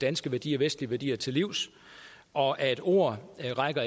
danske værdier vestlige værdier til livs og at ord ikke rækker